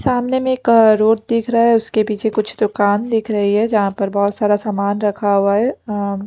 सामने मे एक रोड दिख रहा है उसके पीछे कुछ दुकान दिख रही है जहां पर बहोत सारा समान रखा हुआ है अं--